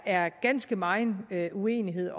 er ganske meget uenighed